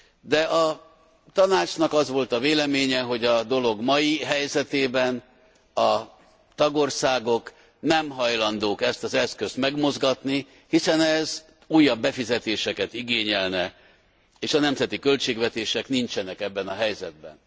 De a Tanácsnak az volt a véleménye, hogy a dolog mai helyzetében a tagországok nem hajlandók ezt az eszközt megmozgatni, hiszen ez újabb befizetéseket igényelne, és a nemzeti költségvetések nincsenek ebben a helyzetben.